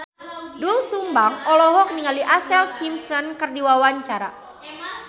Doel Sumbang olohok ningali Ashlee Simpson keur diwawancara